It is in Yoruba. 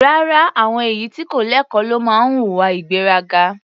Rárá, àwọn èyí tí kò lẹ́kọ̀ọ́ ló máa ń hùwà ìgbéraga.